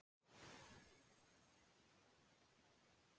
Svo lifir hver sem lyndur er.